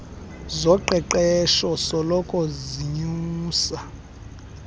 zoqeqeshpo soloko zinyusa